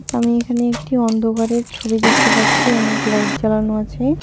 আমি এখানে একটি অন্ধকারের ছবি দেখতে পাচ্ছি অনেক লাইট জ্বালানো আছে।